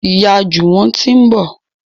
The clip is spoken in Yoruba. Ìyá Juwon tí ń bọ